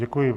Děkuji.